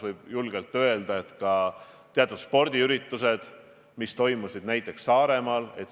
Ma ei ole näinud Eesti ühiskonnas suurt paanikat ei toidupoodides ega kuskil mujal.